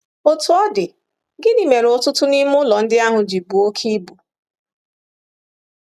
Otú ọ dị, gịnị mere ọtụtụ n’ime ụlọ ndị ahụ ji buo oke ibu?